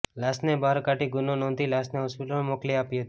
લાશને બહાર કાઢી ગુનો નોંધી લાશને હોસ્પિટલમાં મોકલી આપી હતી